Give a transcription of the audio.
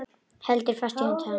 Heldur fast í hönd hans.